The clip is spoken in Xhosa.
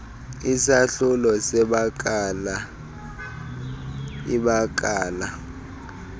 isahlulo sebakala ibakala